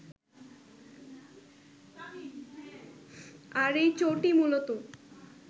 আর এই চোটই মুলত